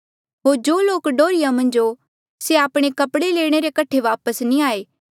होर जो लोक डोहर्रिया मन्झ हो से आपणे कपड़े लेणे रे कठे वापस नी आये